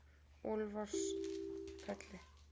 Úlfarsfelli